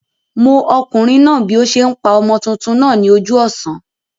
Mó okùnrin náà bí o se n pa ọmọ tuntun náà ní ojú òsán